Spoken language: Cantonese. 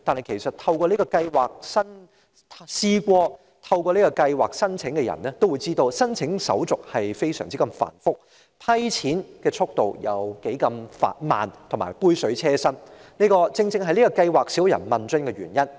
事實上，曾申請這項計劃的人也知道，申請手續非常繁複，審批津貼的速度十分緩慢，津貼只是杯水車薪，而這正是計劃乏人問津的原因。